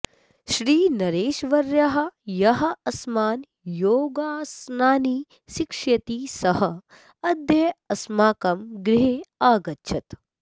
श्रीनरेशवर्यः यः अस्मान् योगासनानि शिक्षयति सः अद्य अस्माकं गृहे आगच्छत्